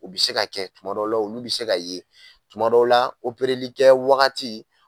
O bi se ka kɛ kuma dɔw la olu bɛ se ka ye tuma dɔw la kɛ wagati.